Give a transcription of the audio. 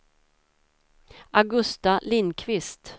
Augusta Lindqvist